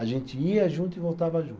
A gente ia junto e voltava junto.